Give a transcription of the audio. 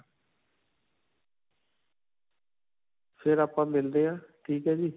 ਫਿਰ ਆਪਾਂ ਮਿਲਦੇ ਹਾਂ ਠੀਕ ਹੈ ਜੀ.